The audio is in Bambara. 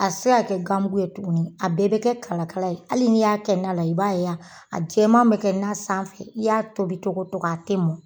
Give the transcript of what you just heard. A te se ka kɛ ganmugu ye tuguni a bɛɛ be kɛ kalakala ye hali n'i y'a kɛ na la i b'a yan a jɛ bɛ kɛ n na sanfɛ i y'a tobicogo to a tɛ ma